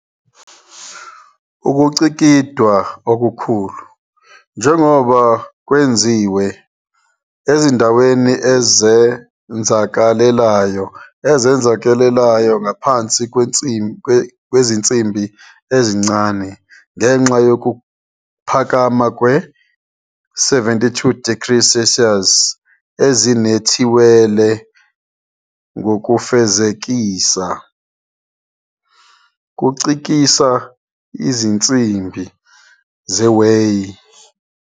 Ukucikidwa okukhulu, njengoba kwenziwe ezindaweni ezenzakalelayo ezenzakalelayo ngaphansi kwezinsimbi ezincane ngenxa yokuphakama kwe-72 degrees Celsius ezinethiwele ngokufezekisa, kucikisa izinsimbi zewhey.